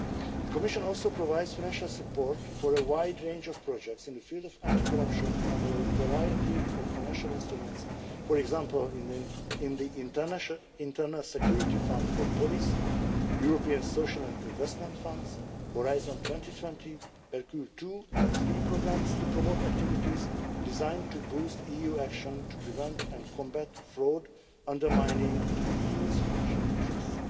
The Commission also provides financial support for a wide range of projects in the field of anti corruption under a variety of financial instruments, for example in the Internal Security Fund for Police, European social and investment funds, Horizon 2020 and Hercule II and III programmes, to promote activities designed to boost EU action to prevent and combat fraud undermining the EU's financial interests.